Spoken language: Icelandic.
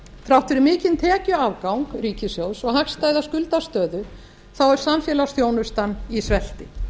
þrátt fyrir mikinn tekjuafgang ríkissjóðs og hagstæða skuldastöðu er samfélagsþjónustan í svelti